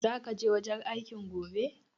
Zaka je wajen aikin gobe?